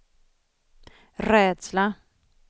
rädsla